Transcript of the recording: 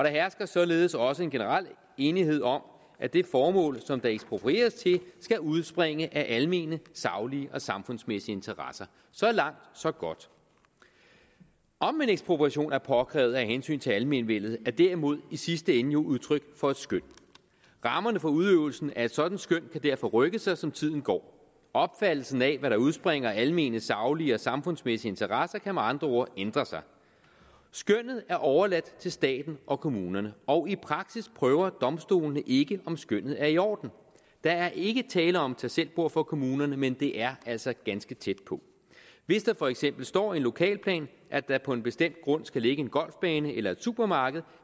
hersker således også en generel enighed om at det formål som der eksproprieres til skal udspringe af almene saglige og samfundsmæssige interesser så langt så godt om en ekspropriation er påkrævet af hensyn til almenvellet er derimod i sidste ende jo udtryk for et skøn rammerne for udøvelsen af et sådant skøn kan derfor rykke sig som tiden går opfattelsen af hvad der udspringer af almene saglige og samfundsmæssige interesser kan med andre ord ændre sig skønnet er overladt til staten og kommunerne og i praksis prøver domstolene ikke om skønnet er i orden der er ikke tale om et tagselvbord for kommunerne men det er altså ganske tæt på hvis der for eksempel står i en lokalplan at der på en bestemt grund skal ligge en golfbane eller et supermarked